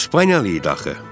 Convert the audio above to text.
İspaniyalı idi axı.